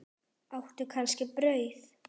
Áttu kannski brauð?